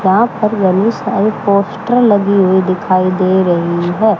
यहां पर गली साइड पोस्टर लगी हुई दिखाई दे रही है।